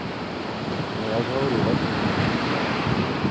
ну я же говорю во сне да